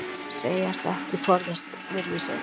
Segjast ekki forðast virðisaukaskatt